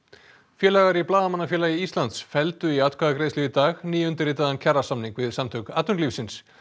félagar í Blaðamannafélagi Íslands felldu í atkvæðagreiðslu í dag nýundirritaðan kjarasamning við Samtök atvinnulífsins